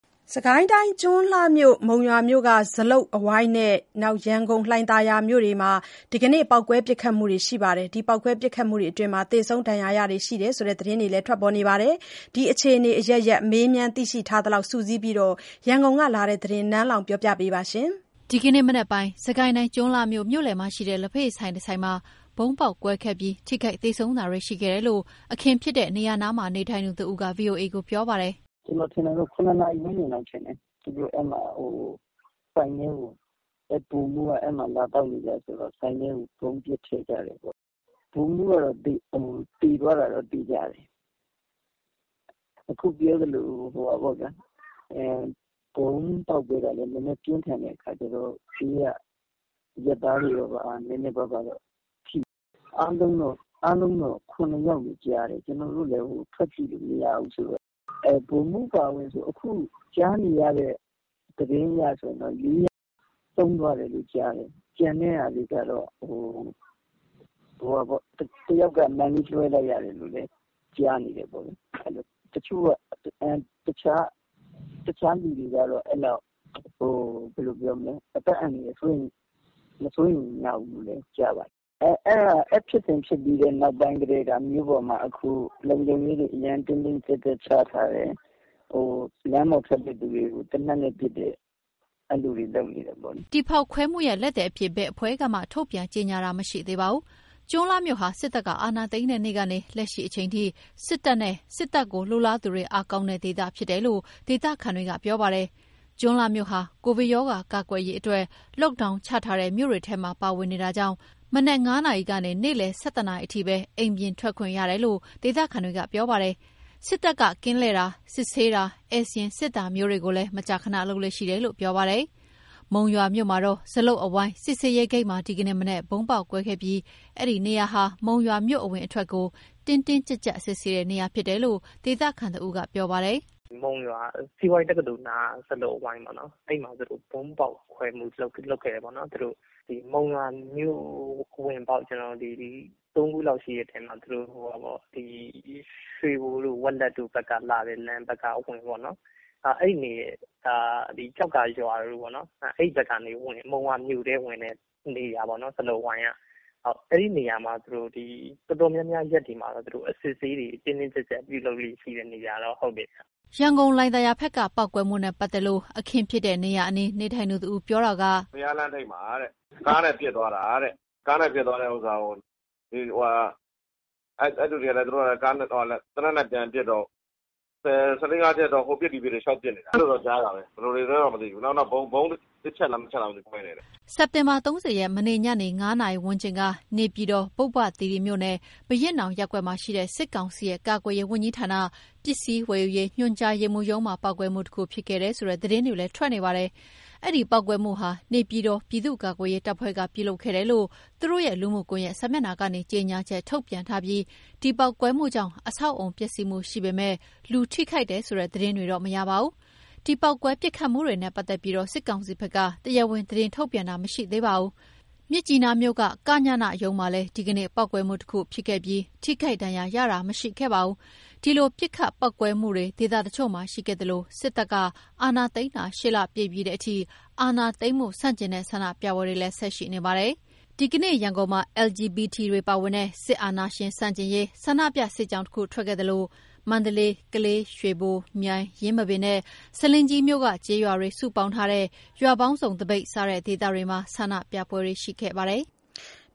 စစ်ကိုင်းတိုင်း၊ ကျွန်းလှမြို့၊ မုံရွာမြို့က ဇလုပ်အဝိုင်းနဲ့ ရန်ကုန်၊ လှိုင်သာယာမြို့တို့မှာ ဒီကနေ့ ပေါက်ကွဲ ပစ်ခတ်မှုတွေရှိခဲ့ပြီး သေဆုံး ဒဏ်ရာရတာတွေရှိတယ်ဆိုတဲ့ သတင်းတွေ ထွက်ထားပါတယ်။ ဒီအခြေအနေအရပ်ရပ် မေးမြန်း သိရှိထားသလောက်စုစည်းပြီး ရန်ကုန်ကလာတဲ့သတင်းကို နန်းလောင်ဝ်က ပြောပြပါမယ်။ ဒီကနေ့မနက်ပိုင်းက စစ်ကိုင်းတိုင်း ကျွန်းလှမြို့ မြို့လည်မှာရှိတဲ့ လက်ဖက်ရည်ဆိုင်တဆိုင်မှာ ဗုံးပေါက်ကွဲခဲ့ပြီး ထိခိုက် သေဆုံးတာတွေရှိခဲ့တယ်လို့ အခင်းဖြစ်တဲ့နေရာနားမှာ နေထိုင်သူတဦးက ဗွီအိုအေကိုပြောပါတယ်။ “ကျနော်ထင်တာတော့ ၇ နာရီဝန်းကျင်လောက်ထင်တယ်။ သူတို့ဆိုင်ထဲကို၊ အဲဒီဗိုလ်မှူးက အဲဒီမှာ လာသောက်နေကျဆိုတော့ ဆိုင်ထဲကို ပစ်ထည့်လိုက်တယ်ပေါ့။ ဗိုလ်မှူးကတော့ သေသွားတာတော့ သေချာတယ်။ ဗုံးပေါက်တာကလည်း နည်းနည်းပြင်းထန်တဲ့အခါကျတော့ ဘေးကအရပ်သားတွေတော့ နည်းနည်းပါးပါးတော့ထိတယ်။ အားလုံးတော့ ထိတာ ၇ ယောက်လို့ကြားတယ်။ ကျနော်တို့လည်း အပြင်ထွက်ပြီးကြည့်လို့မရတော့လေ။ ဗိုလ်မှူးအပါအဝင် ခုထိကြားနေရတဲ့ သတင်းတွေအရဆိုရင် ၄ ယောက် ဆုံးသွားတယ်လို့ ကြားတယ်။ ကျန်တဲ့တချို့ကတော့ အသက် အန္တရာယ် မစိုးရိမ်ရဘူးလို့တော့ ကြားပါတယ်။ အဲဒီဖြစ်စဉ်ဖြစ်ပြီးနောက်ပိုင်း အခု မြို့ပေါ်မှာ လုံခြုံရေးတွေ အရမ်းတင်းတင်းကြပ်ကြပ်ချထားတယ်။ လမ်းပေါ်ထွက်တဲ့သူတွေကို သေနတ်နဲ့ပစ်တယ်၊ အဲ့လိုတွေ လုပ်နေတယ်ပေါ့လေ။” ဒီဖောက်ခွဲမှုရဲ့လက်သည်အဖြစ် ဘယ်အဖွဲ့ကမှ ထုတ်ပြန်ကြေညာတာ မရှိသေးပါဘူး။ ကျွန်းလှမြို့ဟာ စစ်တပ်က အာဏာသိမ်းတဲ့နေ့ကနေ လက်ရှိအချိန်ထိ စစ်တပ်နဲ့ စစ်တပ်လိုလားသူတွေ အားကောင်းတဲ့ဒေသဖြစ်တယ်လို့ ဒေသခံတွေက ပြောပါတယ်။ ကျွန်းလှမြို့ဟာ ကိုဗစ်ရောဂါ ကာကွယ်ရေးအတွက် Lockdown ချထားတဲ့ မြို့တွေထဲမှာ ပါဝင်နေတာကြောင့် မနက် ၅ နာရီကနေ နေ့လယ် ၁၁ နာရီအထိပဲ အိမ်ပြင်ထွက်ခွင့်ရတယ်လို့ ဒေသခံတွေက ပြောပါတယ်။ စစ်တပ်က ကင်းလှည့်တာ၊ စစ်ဆေးတာ၊ ဧည့်စာရင်းစစ်တာမျိုးတွေကိုလည်း မကြာခဏလုပ်လေ့ရှိတယ်လို့ ပြောပါတယ်။ မုံရွာမြို့မှာတော့ ဇလုပ်အဝိုင်း စစ်ဆေးရေးဂိတ်မှာ ဒီကနေ့မနက်က ဗုံးပေါက်ကွဲခဲ့ပြီး အဲဒီနေရာဟာ မုံရွာမြို့ အဝင်အထွက်ကို တင်းတင်းကြပ်ကြပ် စစ်ဆေးတဲ့နေရာဖြစ်တယ်လို့ ဒေသခံတဦးက ပြောပါတယ်။ “မုံရွာစီးပွားရေးတက္ကသိုလ်နားက ဇလုပ်အဝိုင်းပေါ့နော်။ အဲ့မှာ သူတို့ Monywa UG ၊ Monywa The Boy အဖွဲ့တွေက ဗုံးဖောက်ခွဲမှု ပြုလုပ်ခဲ့တယ်ပေါ့နော်။ မုံရွာမြို့ဝင်ပေါက် သုံးခုလောက်ရှိတဲ့ထဲမှာ ဒီဟာက ရွှေဘိုတို့၊ ဝက်လက်တို့ ဘက်က အဝင်ပေါ့နော်၊ ကျောက္ကာရွာဘက်ကနေ မုံရွာမြို့ထဲကို ဝင်တဲ့နေရာပေါ့နော်၊ ဇလုပ်အဝိုင်းက။ အဲဒီနေရာမှာ သူတို့ ဒီ တော်တော်များများရက်တွေမှာတော့ အစစ်အဆေးတွေ တင်းတင်းကြပ်ကြပ် ရှိတဲ့နေရာဗျ။” ရန်ကုန်၊ လှိုင်သာယာဘက်က ပေါက်ကွဲမှုနဲ့ပတ်သက်လို့တော့ အခင်းဖြစ်တဲ့နေရာအနီး နေထိုင်သူတဦး ပြောပြတာက - “ဘုရားလမ်းထိပ်မှာ ကားနဲ့ လာပစ်သွားတာတဲ့။ ကားနဲ့ပစ်သွားတာကို အဲ့လူတွေကလည်း သေနတ်နဲ့ ပြန်ပစ်တော့ ၁၄/၅ ချက်လောက် ဟိုပစ်ဒီပစ်တွေ လိုက်ပစ်နေတာ။ အဲ့လိုတော့ ကြားတာပဲ။ ဘယ်လိုတွေလဲတော့ မသိဘူး။ နောက် ဗုံး တချက်လား နှစ်ချက်လား မသိဘူး ကွဲတယ်တဲ့။” စက်တင်ဘာ ၃၀ ရက် မနေ့ညနေ ၅ နာရီဝန်းကျင်က နေပြည်တော် ပုဗ္ဗသီရိမြို့နယ်၊ ဘုရင့်နောင်ရပ်ကွက်မှာရှိတဲ့ စစ်ကောင်စီရဲ့ ကာကွယ်ရေးဝန်ကြီးဌာန၊ ပစ္စည်းဝယ်ယူရေးညွှန်ကြားရေးမှူးရုံးမှာ ပေါက်ကွဲမှုတခု ဖြစ်ခဲ့တယ်ဆိုတဲ့ သတင်းတွေလည်း ထွက်နေပါတယ်။အဲ့ဒီပေါက်ကွဲမှုဟာ နေပြည်တော် ပြည်သူ့ကာကွယ်ရေးတပ်ဖွဲ့က ပြုလုပ်ခဲ့တယ်လို့ သူတို့ရဲ့ လူမှုကွန်ယက်စာမျက်နှာကနေ ကြေညာချက် ထုတ်ပြန်ထားပြီး ဒီပေါက်ကွဲမှုကြောင့် အဆောက်အအုံ ပျက်စီးမှုရှိပေမယ့် လူထိခိုက်တယ်ဆိုတဲ့ သတင်းတွေတော့မရပါဘူး။ ဒီ ပေါက်ကွဲပစ်ခတ်မှုတွေနဲ့ပတ်သက်ပြီး စစ်ကောင်စီဘက်က တရားဝင် သတင်းထုတ်ပြန်တာတော့ မရှိသေးပါဘူး။ မြစ်ကြီးနားမြို့က ကညနရုံးမှာလည်း ဒီကနေ့ ပေါက်ကွဲမှုတခု ဖြစ်ခဲ့ပြီး ထိခိုက်ဒဏ်ရာရတာ မရှိခဲ့ပါဘူး။ ဒီလို ပစ်ခတ် ပေါက်ကွဲမှုတွေ ဒေသတချို့မှာ ရှိခဲ့သလို စစ်တပ်က အာဏာသိမ်းတာ ၈ လပြည့်ပြီးတဲ့အထိ အာဏာသိမ်းမှု ဆန့်ကျင်တဲ့ ဆန္ဒပြပွဲတွေကလည်း ဆက်ရှိနေပါတယ်။ ဒီကနေ့ ရန်ကုန်မှာ LGBT တွေပါဝင်တဲ့ စစ်အာဏာရှင်ဆန့်ကျင်ရေး ဆန္ဒပြ စစ်ကြောင်းတခု ထွက်ခဲ့သလို မန္တလေး၊ ကလေး၊ ရွှေဘို၊ မြိုင်၊ ယင်းမာပင်နဲ့ ဆားလင်းကြီးမြို့က ကျေးရွာတွေ စုပေါင်းထားတဲ့ ရွာပေါင်းစုံ သပိတ် စတဲ့ဒေသတွေမှာ ဆန္ဒပြပွဲတွေရှိခဲ့ပါတယ်။